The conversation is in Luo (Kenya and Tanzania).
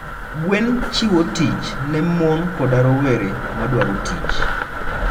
gwen chiwo tich ne mon koda rowere madwaro tich.